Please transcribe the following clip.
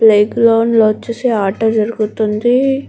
Play ground లో వచ్చేసి ఆట జరుగుతుంది.